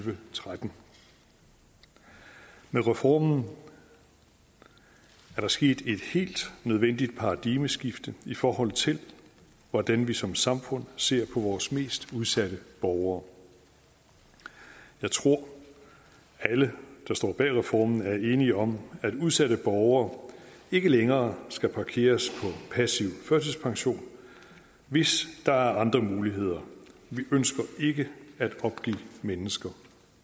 tretten med reformen er der sket et helt nødvendigt paradigmeskifte i forhold til hvordan vi som samfund ser på vores mest udsatte borgere jeg tror at alle der står bag reformen er enige om at udsatte borgere ikke længere skal parkeres på passiv førtidspension hvis der er andre muligheder vi ønsker ikke at opgive mennesker